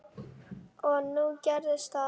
Og nú gerðist það.